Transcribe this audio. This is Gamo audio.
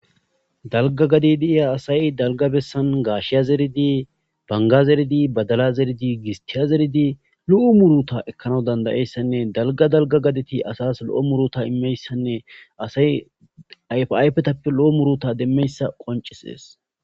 dalga gadi diiya asay dalga bessan gaashiya zeridi banga zeridi badala zeridi gistiya zeridi lu7u muruta ekkana dandayeyssanne dalga dalga gadeti asas lo7o muruta immeyssanne asay ayfetappe lo7o muruta demmeyssa qoncisees